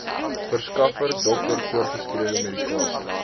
verskaffer dokter voorgeskrewemedikasie